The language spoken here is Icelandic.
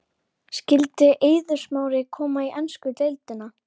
Skyldi Eiður Smári koma í ensku deildina?